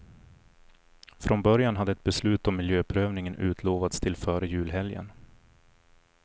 Från början hade ett beslut om miljöprövningen utlovats till före julhelgen.